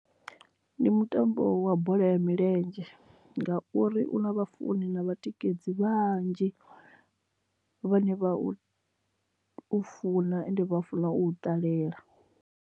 Ndi mutambo wa bola ya milenzhe ngauri u na vha funi na vhatikedzi vhanzhi vhane vha u funa and vha funa u ṱalela.